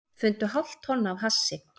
Fundu hálft tonn af hassi